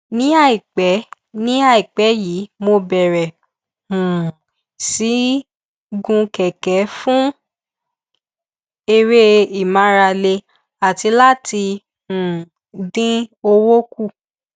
ní àìpẹ ní àìpẹ yìí mo bẹrẹ um sí í gun kẹkẹ fún eré ìmárale àti láti um dín owó kù